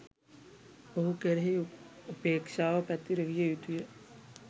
ඔහු කෙරෙහි උපේක්ෂාව පැතිරවිය යුතු ය.